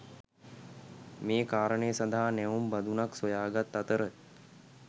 මේ කාරණය සඳහා නැවුම් බඳුනක් සොයාගත් අතර